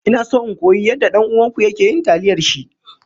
Ina so in koyi yadda dan uwanku yake yin taliyar shi.